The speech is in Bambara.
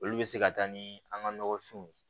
Olu bɛ se ka taa ni an ka nɔgɔfinw ye